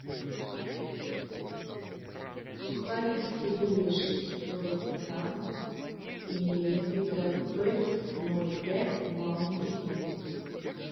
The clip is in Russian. сухарики кириешки сорок грамм и напиток пэт ноль пять маунти дью